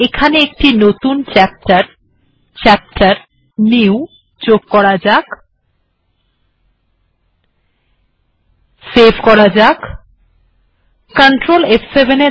এখন বরং chapter new এ যাওয়া যাক এটি বন্ধ করা যাক সেভ করা যাক ctrl ফ7